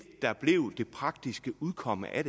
der blev det praktiske udkomme af